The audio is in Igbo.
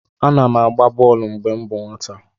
M na-agba bọl mgbe m bụ nwata.